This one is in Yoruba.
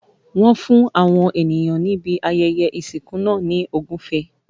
Wọ́n fún àwọn ènìyàn níbi ayẹyẹ ìsìnkú náà ní ogufe.